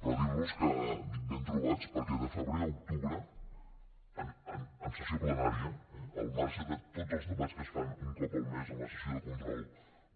però dir los que dic ben trobats perquè de febrer a octubre en sessió plenària eh al marge de tots els debats que es fan un cop al mes en la sessió de control